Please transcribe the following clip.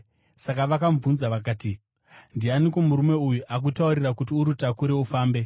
Saka vakamubvunza vakati, “Ndianiko murume uyu akutaurira kuti urutakure ufambe?”